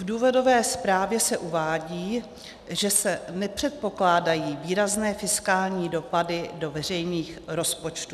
V důvodové zprávě se uvádí, že se nepředpokládají výrazné fiskální dopady do veřejných rozpočtů.